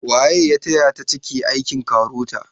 Waye ya taya ta cike aikin KAROTA?